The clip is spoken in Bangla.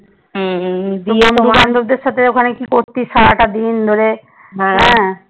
তান্ডপ দের সাথে ওখানে কি করতিস? সারাটাদিন ধরে হ্যাঁ?